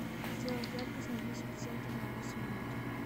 сделать яркость на десять процентов на восемь минут